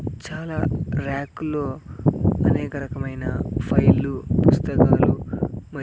చాలా ర్యాక్ లో అనేక రకమైన ఫైల్లు పుస్తకాలు మ --